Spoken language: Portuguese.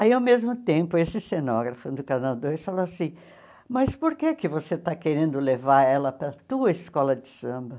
Aí, ao mesmo tempo, esse cenógrafo do Canal Dois falou assim, mas por que que você está querendo levar ela para a tua escola de samba?